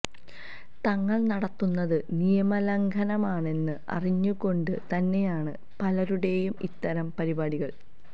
തങ്ങള് നടത്തുന്നത് നിയമലംഘനമാണെന്ന് അറിഞ്ഞുകൊണ്ടു തന്നെയാണ് പലരുടെയും ഇത്തരം പരിപാടികള്